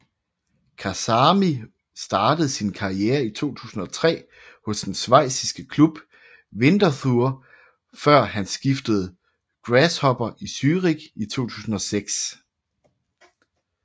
Kasami startede sin karriere i 2003 hos den schweiziske klub Winterthur før han skiftede Grasshopper i Zürich i 2006